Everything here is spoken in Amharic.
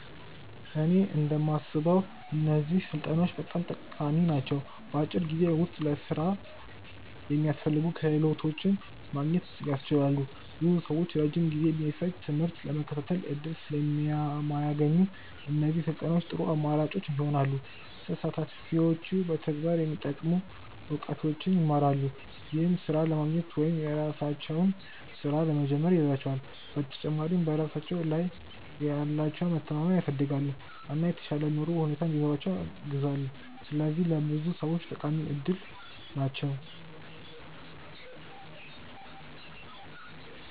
እኔ እንደማስበው እነዚህ ስልጠናዎች በጣም ጠቃሚ ናቸው። በአጭር ጊዜ ውስጥ ለሥራ የሚያስፈልጉ ክህሎቶችን ማግኘት ያስችላሉ። ብዙ ሰዎች ረጅም ጊዜ የሚፈጅ ትምህርት ለመከታተል እድል ስለማያገኙ፣ እነዚህ ስልጠናዎች ጥሩ አማራጭ ይሆናሉ። ተሳታፊዎች በተግባር የሚጠቅሙ እውቀቶችን ይማራሉ፣ ይህም ሥራ ለማግኘት ወይም የራሳቸውን ሥራ ለመጀመር ይረዳቸዋል። በተጨማሪም በራሳቸው ላይ ያላቸውን መተማመን ያሳድጋሉ፣ እና የተሻለ የኑሮ ሁኔታ እንዲኖራቸው ያግዛሉ። ስለዚህ ለብዙ ሰዎች ጠቃሚ እድል ናቸው።